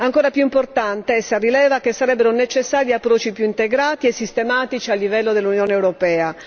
Ancora più importante essa rileva che sarebbero necessari approcci più integrati e sistematici a livello dell'Unione europea.